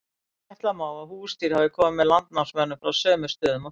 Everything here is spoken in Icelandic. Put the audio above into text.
ætla má að húsdýr hafi komið með landnámsmönnum frá sömu stöðum og þeir